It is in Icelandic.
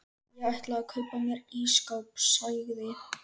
Ég ætla að kaupa mér ísskáp sagði